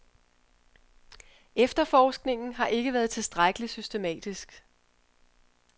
Efterforskningen har ikke været tilstrækkelig systematisk.